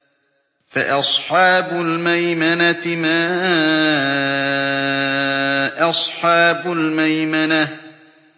فَأَصْحَابُ الْمَيْمَنَةِ مَا أَصْحَابُ الْمَيْمَنَةِ